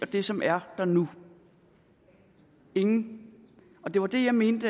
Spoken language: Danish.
det som er der nu ingen det var det jeg mente